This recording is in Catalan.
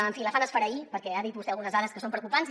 en fi la fan esfereir perquè ha dit vostè algunes dades que són preocupants